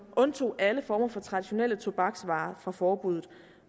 undtog alle former for traditionelle tobaksvarer fra forbuddet